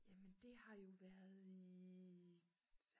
jamen det har jo været i